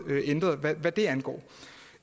hvad det angår